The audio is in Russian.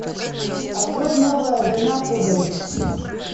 открой новая война пуговиц